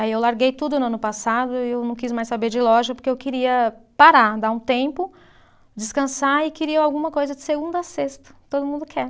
Aí eu larguei tudo no ano passado e eu não quis mais saber de loja porque eu queria parar, dar um tempo, descansar e queria alguma coisa de segunda a sexta, todo mundo quer.